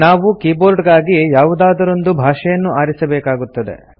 ನಾವು ಕೀಬೋರ್ಡ್ ಗಾಗಿ ಯಾವುದಾದರೊಂದು ಭಾಷೆಯನ್ನು ಆರಿಸಬೇಕಾಗುತ್ತದೆ